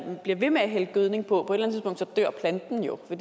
man bliver ved med at hælde gødning på så dør planten jo på